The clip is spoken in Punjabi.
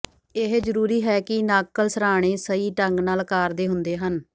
ਇਹ ਜ਼ਰੂਰੀ ਹੈ ਕਿ ਨਾਕਲ ਸਰ੍ਹਾਣੇ ਸਹੀ ਢੰਗ ਨਾਲ ਆਕਾਰ ਦੇ ਹੁੰਦੇ ਹਨ